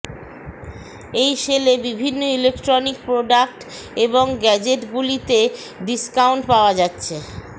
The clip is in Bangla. এই সেলে বিভিন্ন ইলেকট্রনিক প্রোডাক্ট এবং গ্যাজেটগুলি তে ডিসকাউন্ট পাওয়া যাচ্ছে